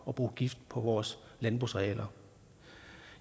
at bruge gift på vores landbrugsarealer